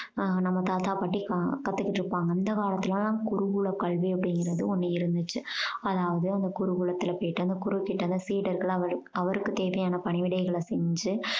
ஆஹ் நம்ம தாத்தா பாட்டி க~ கத்துக்கிட்டிருப்பாங்க அந்த காலத்துலெல்லாம் குருகுல கல்வி அப்படீங்கறது ஒண்ணு இருந்துச்சு. அதாவது அவங்க குருகுலத்துல போயிட்டு அங்க குரு கிட்ட சீடர்களாம் அவரு~ அவருக்கு தேவையான பணிவிடைகளை செஞ்சு